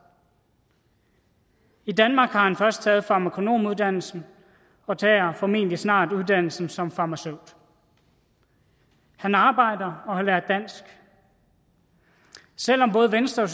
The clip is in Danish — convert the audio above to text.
i danmark har han først taget farmakonomuddannelsen og tager formentlig snart uddannelsen som farmaceut han arbejder og har lært dansk selv om både venstre